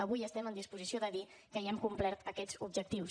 avui estem en disposició de dir que ja hem complert aquests objectius